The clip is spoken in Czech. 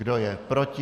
Kdo je proti?